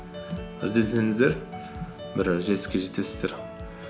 бір жетістікке жетесіздер